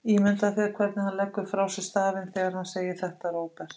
Ímyndaðu þér hvernig hann leggur frá sér stafinn þegar hann segir þetta, Róbert.